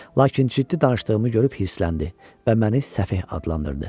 Lakin ciddi danışdığımı görüb hirsləndi və məni səfeh adlandırdı.